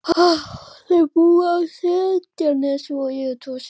Þau búa á Seltjarnarnesi og eiga tvo syni.